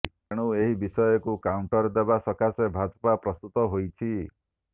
ତେଣୁ ଏହି ବିଷୟକୁ କାଉଣ୍ଟର ଦେବା ସକାଶେ ଭାଜପା ପ୍ରସ୍ତୁତ ହୋଇଛି